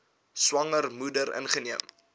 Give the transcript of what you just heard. swanger moeder ingeneem